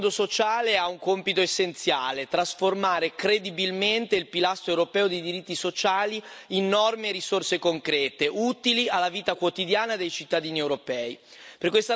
Il nuovo Fondo sociale europeo ha un compito essenziale trasformare credibilmente il pilastro europeo dei diritti sociali in norme e risorse concrete, utili alla vita quotidiana dei cittadini europei.